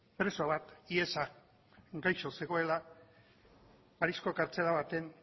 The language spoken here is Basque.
preso bat hiesaz gaixo zegoela pariseko gartzela batean